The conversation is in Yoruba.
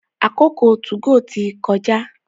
àkókò tí 2go tí kọjá.